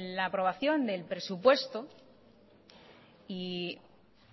la aprobación del presupuesto y